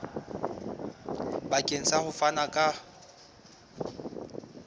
bakeng sa ho fana ka